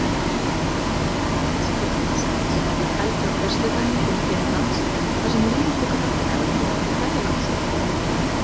Kvennalandslið Íslands heldur á föstudaginn til Finnlands þar sem liðið tekur þátt í Evrópumóti kvennalandsliða.